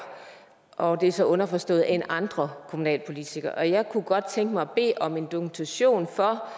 og det er så underforstået end andre kommunalpolitikere jeg kunne godt tænke mig at bede om en dokumentation